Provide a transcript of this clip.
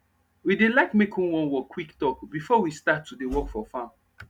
we dey like make who wan work quick talk before we start to dey work for farm